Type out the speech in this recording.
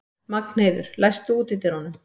Magnheiður, læstu útidyrunum.